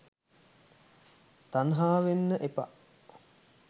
තන්හාවෙන්න එපා.